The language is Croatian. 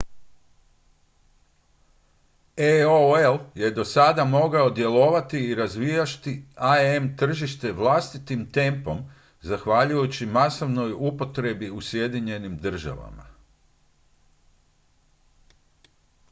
aol je do sada mogao djelovati i razvijati im tržište vlastitim tempom zahvaljujući masovnoj upotrebi u sjedinjenim državama